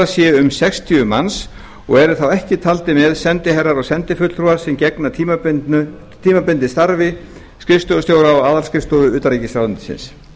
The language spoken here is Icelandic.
séu um sextíu manns og eru þá ekki taldir með sendiherrar og sendifulltrúar sem gegna tímabundið starfi skrifstofustjóra á aðalskrifstofu utanríkisráðuneytisins